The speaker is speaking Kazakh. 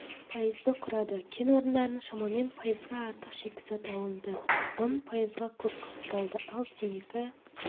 пайызды құрады кен орындарынан шамамен пайызға артық шикізат алынды ұн пайызға көп қапталды ал темекі